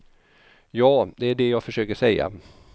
Ja, det är det jag försöker säga.